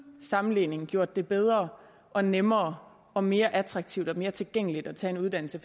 sammenligning gjort det bedre og nemmere og mere attraktivt og mere tilgængeligt at tage en uddannelse